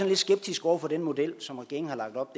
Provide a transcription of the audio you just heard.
lidt skeptiske over for den model som regeringen har lagt op